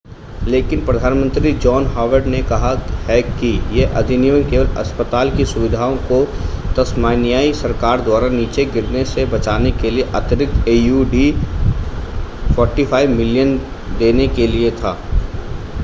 लेकिन प्रधानमंत्री John Howard ने कहा है कि यह अधिनियम केवल अस्पताल की सुविधाओं को तस्मानियाई सरकार द्वारा नीचे गिरने से बचाने के लिए अतिरिक्त aud $45 मिलियन देने के लिए था